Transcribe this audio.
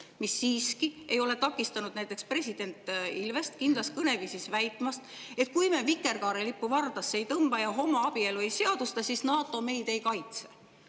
See siiski ei ole takistanud näiteks president Ilvest kindlas kõneviisis väitmast, et kui me vikerkaarelippu vardasse ei tõmba ja homoabielu ei seadusta, siis NATO meid ei kaitse.